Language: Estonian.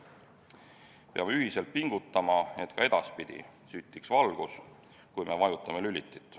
Peame ühiselt pingutama, et ka edaspidi süttiks valgus, kui me vajutame lülitit.